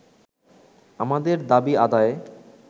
আমাদের দাবি আদায়ে